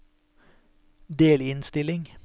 delinnstilling